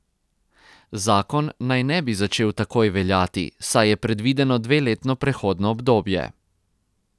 Zakon naj ne bi začel takoj veljati, saj je predvideno dveletno prehodno obdobje.